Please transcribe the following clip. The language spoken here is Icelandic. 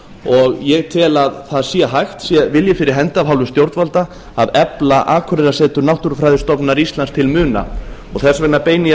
og ég tel að það sé hægt sé vilji fyrir hendi af hálfu stjórnvalda að efla akureyrarsetur náttúrufræðistofnunar íslands til muna þess vegna beini